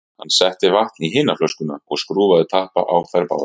Hann setti vatn í hina flöskuna og skrúfaði tappa á þær báðar.